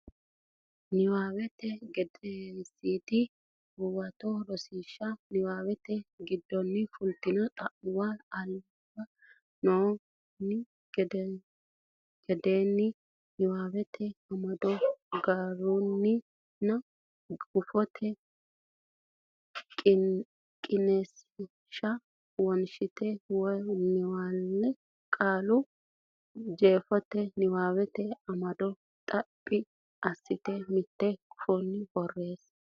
Nabbawate Gedensiidi Huwato Rosiishsha niwaawete giddonni fultino xa muwa alba noo ne egennonni niwaawete amado garinninna giraafete qiniishsha wonshitine wo naalle Qoleno jeefote niwaawete amado xaphi assitine mitte gufo borreesse.